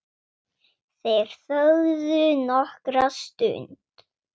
Þeir þögðu nokkra stund.